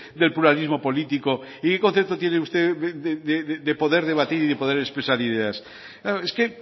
del pluralismo político y qué concepto tiene usted de poder debatir y de poder expresar ideas es que